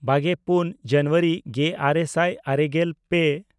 ᱵᱟᱜᱮᱯᱩᱱ ᱡᱟᱱᱩᱣᱟᱨᱤ ᱜᱮᱼᱟᱨᱮ ᱥᱟᱭ ᱟᱨᱮᱜᱮᱞ ᱯᱮ